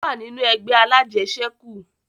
Ó wà nínú ẹgbẹ́ alájẹṣẹ̀kù